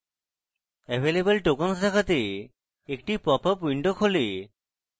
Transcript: available tokens দেখাতে একটি popup window খোলে